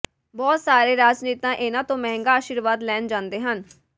ਬਹੁਤ ਸਾਰੇ ਰਾਜਨੇਤਾ ਇਨ੍ਹਾਂ ਤੋਂ ਮਹਿੰਗਾ ਅਸ਼ੀਰਵਾਦ ਲੈਣ ਜਾਂਦੇ ਹਨ